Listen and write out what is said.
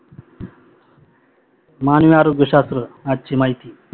मानव आरोग्य शास्त्र आजची महिती